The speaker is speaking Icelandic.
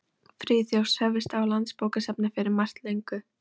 Friðþjófs hófust á Landsbókasafni fyrir margt löngu.